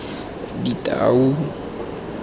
ditau